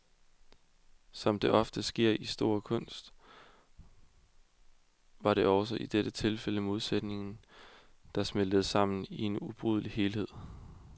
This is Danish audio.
Som det ofte sker i stor kunst, var det også i dette tilfælde modsætninger, der smeltede sammen i en ubrydelig helhed.